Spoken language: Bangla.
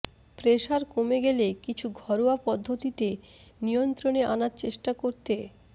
প্রেসার কমে গেলে কিছু ঘরোয়া পদ্ধতিতে নিয়ন্ত্রণে আনার চেষ্টা করতে